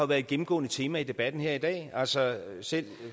været et gennemgående tema i debatten her i dag altså selv